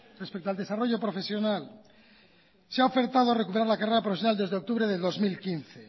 respecto al desarrollo profesional se ha ofertado recuperar la carrera profesional desde octubre de dos mil quince